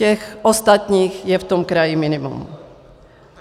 Těch ostatních je v tom kraji minimum.